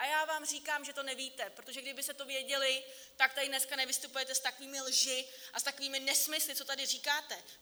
A já vám říkám, že to nevíte, protože kdybyste to věděli, tak tady dneska nevystupujete s takovými lžemi a s takovými nesmysly, co tady říkáte.